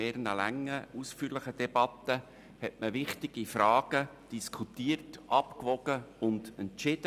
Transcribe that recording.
In mehreren langen, ausführlichen Debatten hat man wichtige Fragen diskutiert, abgewogen und entschieden.